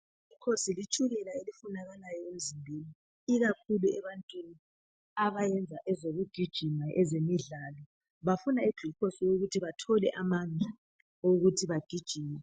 I glucose litshukela elifunakalayo emzimbeni ikakhulu ebantwini abayenza ezokujigima ezemidlalo bafuna iglucose eyokuthi bathole amandla ukuthi bagijime